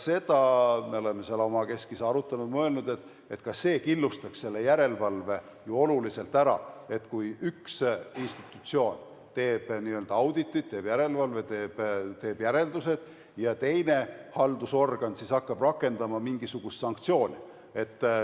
Seda me oleme samuti omakeskis arutanud ja mõelnud, et ka see killustaks järelevalve ju oluliselt ära, kui üks institutsioon teeb auditi, teeb järelevalve, teeb järeldused, ja teine haldusorgan hakkab siis rakendama mingisugust sanktsiooni.